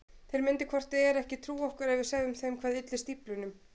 Þeir myndu hvort eð er ekki trúa okkur ef við segðum þeim hvað ylli stíflunum.